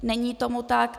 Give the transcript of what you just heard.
Není tomu tak.